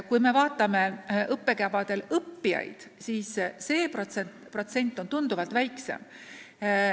Kui me vaatame õppekavadel õppijaid, siis see protsent on tunduvalt väiksem.